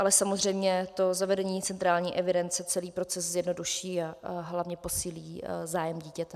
Ale samozřejmě to zavedení centrální evidence celý proces zjednoduší a hlavně posílí zájem dítěte.